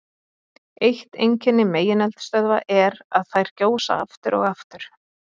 Eitt einkenni megineldstöðva er að þær gjósa aftur og aftur.